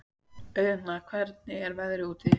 Auðna, hvernig er veðrið úti?